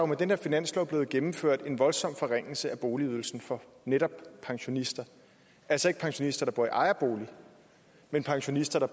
med den her finanslov blevet gennemført en voldsom forringelse af boligydelsen for netop pensionister altså ikke pensionister der bor i ejerbolig men pensionister der